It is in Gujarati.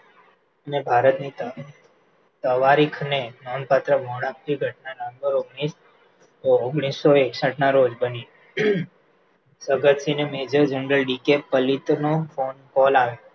ભારતની તવારીખને નોંધપાત્ર આપતી ઘટના ઓળખ આપતી ઓગણીસો એકસઠના રોજ બની જગતસિંહને major general D K Pallit નો phone call આવ્યો